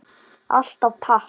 Alltaf takk.